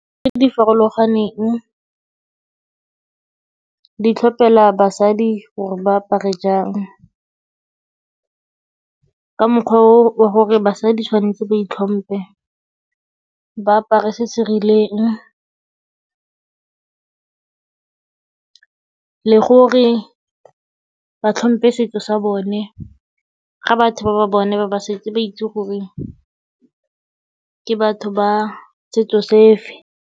Tse di farologaneng di tlhopela basadi gore ba apare jang, ka mokgwa o gore basadi tshwanetse ba itlhompe, ba apare se se rileng le gore ba tlhompe setso sa bone. Ga batho ba ba bone ba ba setse ba itse gore ke batho ba setso se fe.